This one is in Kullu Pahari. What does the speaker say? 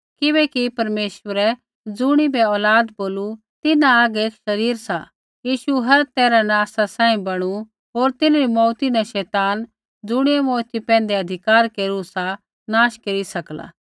किबैकि परमेश्वरै ज़ुणिबै औलाद बोलू तिन्हां हागै एक शरीर सा यीशु हर तैरहा न आसा सांही बणु होर तिन्हरी मौऊती न शैतान ज़ुणियै मौऊती पैंधै अधिकार केरू सा नाश केरी सकला